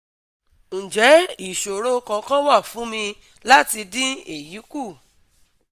Nje isoro kankan wa fun mi lati din eyi ku?